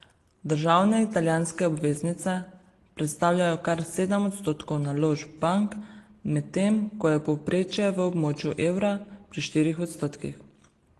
Državne italijanske obveznice predstavljajo kar sedem odstotkov naložb bank, medtem ko je povprečje v območju evra pri štirih odstotkih.